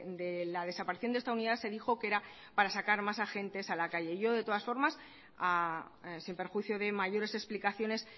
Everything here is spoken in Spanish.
de la desaparición de esta unidad se dijo que era para sacar más agentes a la calle yo de todas formas sin perjuicio de mayores explicaciones